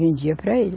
Vendia para ele.